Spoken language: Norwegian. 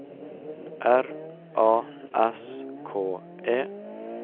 R A S K E